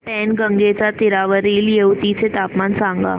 पैनगंगेच्या तीरावरील येवती चे तापमान सांगा